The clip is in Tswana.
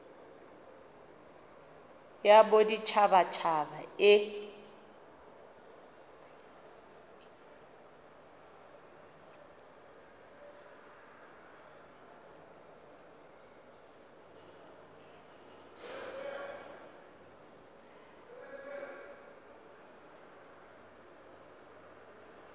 ya bodit habat haba e